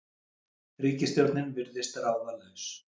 Ríkisstjórnin virðist ráðalaus